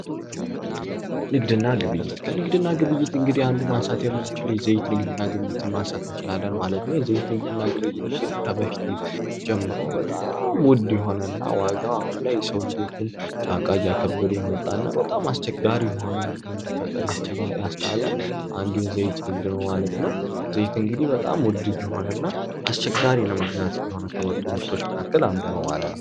ንግድና ግብይት ንግድና ግብይት እንግዲህ አንዱን ማንሳት የምንችለው የዘይት ንግድና ግብይት ነው የዘይት ንግድና ግብይት እንግዲህ ከበፊት ጀምሮ ውድ የሆነና አሁንም ዋጋው ኪስ የተፈታተነ ያለ ንግድ ነው ማለት ነው በጣም አስቸጋሪ ነው ማለት ነው።